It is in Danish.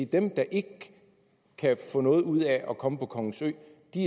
dem der ikke kan få noget ud af at komme på kongens ø